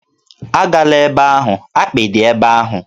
Agala ebe ahụ! akpị dị ebe ahụ